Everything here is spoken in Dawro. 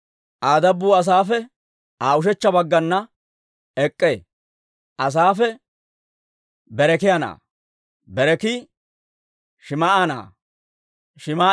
Aa dabbuu Asaafe Aa ushechcha baggana ek'k'ee. Asaafe Berekiyaa na'aa; Berekii Shim"a na'aa;